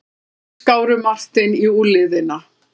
Böndin skáru Martein í úlnliðina.